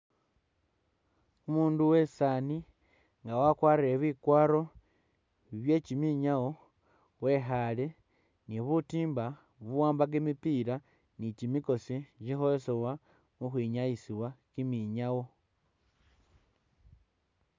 Umundu uwesani nga akwarire bikwaro byekyiminyawo wekhale ni butimba buwamba kyimipila ni bukosi kyikholesewa u’khwinyayisiwa kyiminyawo.